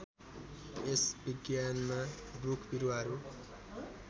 यस विज्ञानमा रुखबिरुवाहरू